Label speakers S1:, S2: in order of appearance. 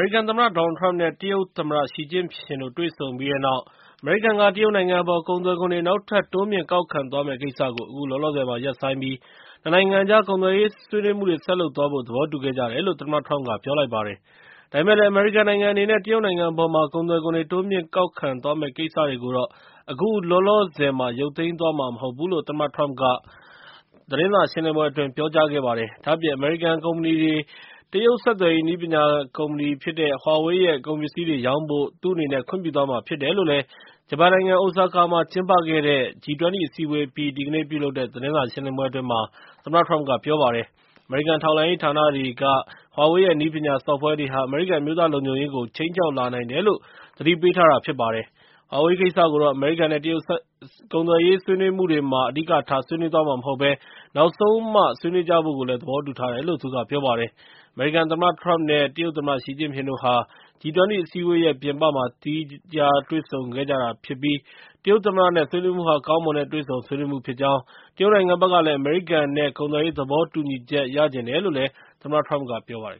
S1: ရိကန်သမ္မတ Donald Trump နဲ့ တရုတ်သမ္မတ Xi Jinping နဲ့ တွေ့ဆုံပြီးတဲ့နောက် အမေရိကန်က တရုတ်နိုင်ငံအပေါ် ကုန်သွယ်ခွန်တွေ နောက်ထပ် တိုးမြှင့်ကောက်ခံသွားမယ့်ကိစ္စကို အခုလောလောဆယ်မှာ ရပ်ဆိုင်းပြီး နှစ် နိုင်ငံ ကုန်သွယ်ရေးဆွေးနွေးမှုတွေ ဆက်လုပ်သွားဖို့ သဘောတူခဲ့ကြတယ်လို့ သမ္မတထရမ့်က ပြောလိုက်ပါတယ်။ ဒါပေမဲ့လည်း အမေရိကန်အနေနဲ့ တရုတ်နိုင်ငံအပေါ်မှာ ကုန်သွယ်ခွန်တွေ တိုးမြှင့်ကောက်ခံသွားမယ့် ကိစ္စတွေကိုတော့ အခုလောလောဆယ်မှာ ရုပ်သိမ်းသွားမှာ မဟုတ်ဘူးလို့ သမ္မတထရမ့်က သတင်းစာ ရှင်းလင်းပွဲအတွင်း ပြောကြားလိုက်ပါတယ်။ ဒါ့အပြင် အမေရိကန်ကုမ္ပဏီတွေ တရုတ် ဆက်သွယ်ရေး နည်းပညာကုမ္ပဏီ Huawei ရဲ့ ကုန်ပစ္စည်းတွေကို ရောင်းဖို့ သူ့အနေနဲ့ ခွင့်ပြုသွားမှာ ဖြစ်တယ်လို့ ဂျပန်နိုင်ငံ အိုဆာကာမြို့မှာ ကျင်းပခဲ့တဲ့ G-20 အစည်းအဝေး အပြီး ဒီကနေ့ ပြုလုပ်တဲ့ သတင်းစာရှင်းလင်းပွဲမှာ ပြောပါတယ်။ အမေရိကန် ထောက်လှမ်းရေးဌာနတွေက Huawei ရဲ့ နည်းပညာ Software တွေဟာ အမေရိကန် အမျိုးသားလုံခြုံရေးကို ခြိမ်းခြောက် လာနိုင်တယ်လို့ သတိပေးထားတာဖြစ်ပါတယ်။ ဟွာဝေးကိစ္စကိုတော့ အမေရိကန်နဲ့ တရုတ်ကုန်သွယ်ရေး ဆွေးနွေးမှုတွေမှာ အဓိကထားဆွေးနွေးမှာ မဟုတ်ဘဲ နောက်ဆုံးမှ ဆွေးနွေးကျဖို့ သဘောတူထားတယ်လို့လည်း သူက ပြောပါတယ်။ အမေရိကန်သမ္မတထရမ့် နဲ့ တရုတ်သမ္မတရှီကျင့်ဖျင်တို့ဟာ G-20 အစည်းအဝေးရဲ့ ပြင်ပမှာ သီးသန့်တွေ့ဆုံခဲ့ကြတာဖြစ်ပြီး တရုတ်သမ္မတနဲ့ ဆွေးနွေးမှုဟာ ကောင်းမွန်တဲ့ တွေ့ဆုံဆွေးနွေးမှုဖြစ်ကြောင်း တရုတ်နိုင်ငံဘက်ကလည်း အမေရိကန် ကုန်သွယ်ရေးသဘောတူညီချက် ရချင်တယ်လို့ သမ္မတထရမ့်က ပြောပါတယ်